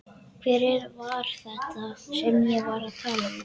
Hver var þetta sem ég var að tala við?